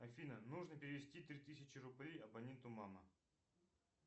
афина нужно перевести три тысячи рублей абоненту мама